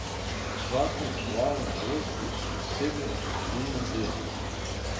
Zakon uvaja novosti pri osebnem dopolnilnem delu.